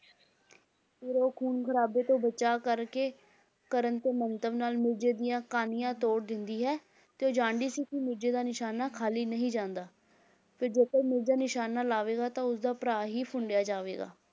ਫਿਰ ਉਹ ਖੂਨ ਖਰਾਬੇ ਤੋਂ ਬਚਾ ਕਰਕੇ ਕਰਨ ਦੇ ਮੰਤਵ ਨਾਲ ਮਿਰਜ਼ੇ ਦੀਆਂ ਕਾਨੀਆਂ ਤੋੜ ਦਿੰਦੀ ਹੈ, ਤੇ ਉਹ ਜਾਣਦੀ ਸੀ ਕਿ ਮਿਰਜ਼ੇ ਦਾ ਨਿਸ਼ਾਨਾ ਖਾਲੀ ਨਹੀਂ ਜਾਂਦਾ, ਫਿਰ ਜਦੋਂ ਮਿਰਜ਼ਾ ਨਿਸ਼ਾਨਾ ਲਾਵੇਗਾ ਤਾਂ ਉਸਦਾ ਭਰਾ ਹੀ ਫੁੰਡਿਆ ਜਾਵੇਗਾ